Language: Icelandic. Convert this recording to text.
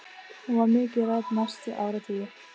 Hún var mikið rædd næstu áratugi.